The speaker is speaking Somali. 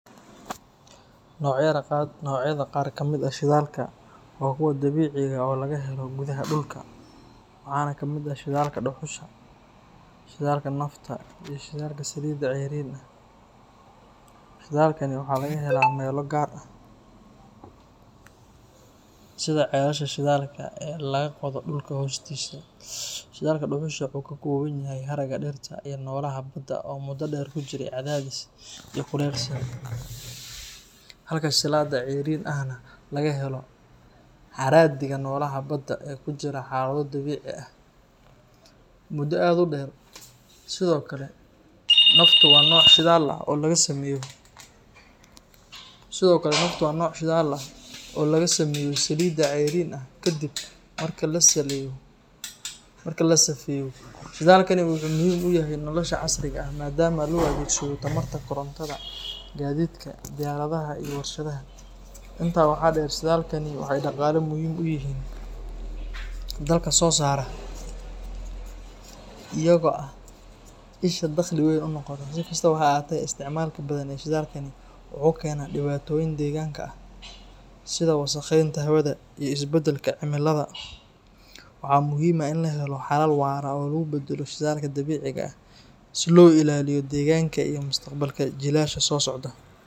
Nocyada qaar kamid ah shidaalka waa kuwo dabiici ah oo laga helo gudaha dhulka, waxaana ka mid ah shidaalka dhuxusha, shidaalka nafta, iyo shidaalka saliidda cayriin ah. Shidaalkaan waxaa laga helaa meelo gaar ah sida ceelasha shidaalka ee laga qodo dhulka hoostiisa. Shidaalka dhuxusha wuxuu ka kooban yahay haraaga dhirta iyo xoolaha badda oo muddo dheer ku jiray cadaadis iyo kulayl sare, halka shidaalka saliidda cayriin ahna laga helo haraadiga noolaha badda ee ku jiray xaalado dabiici ah muddo aad u dheer. Sidoo kale, naftu waa nooc shidaal ah oo laga sameeyo saliidda cayriin ah kadib marka la safeeyo. Shidaalkani wuxuu muhiim u yahay nolosha casriga ah maadaama loo adeegsado tamarta korontada, gaadiidka, diyaaradaha iyo warshadaha. Intaa waxaa dheer, shidaalkaan waxay dhaqaale muhiim ah u yihiin dalalka soo saara, iyaga oo ah isha dakhli weyn u noqota. Si kastaba ha ahaatee, isticmaalka badan ee shidaalkaan wuxuu keenaa dhibaatooyin deegaanka ah sida wasakheynta hawada iyo isbedelka cimilada. Waxaa muhiim ah in la helo xalal waara oo lagu beddelo shidaalka dabiiciga ah si loo ilaaliyo deegaanka iyo mustaqbalka jiilasha soo socda.